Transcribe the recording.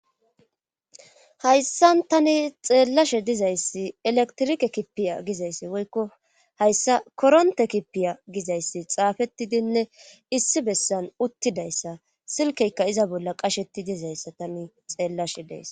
hayssan tani xeellashe dizayssi eletrike kipiya gizayssi woykko hayssa koronte kipiya gizayssi xaafettidinne issi bessan uttidayssa silkeyka iza bolla qashetti dizayssa tani xeellashe dees